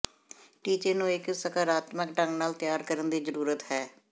ਟੀਚੇ ਨੂੰ ਇੱਕ ਸਕਾਰਾਤਮਕ ਢੰਗ ਨਾਲ ਤਿਆਰ ਕਰਨ ਦੀ ਜ਼ਰੂਰਤ ਹੈ